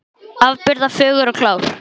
Afburða fögur og klár.